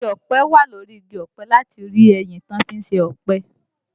Igi ọ̀pẹ wà, lórí igi ọ̀pẹ láti rí ẹyìn tí wọ́n fí ń se epo